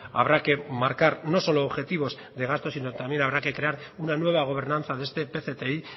habrá que marcar no solo objetivos de gasto sino también habrá que crear una nueva gobernanza de este pcti